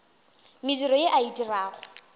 mediro ye a e dirago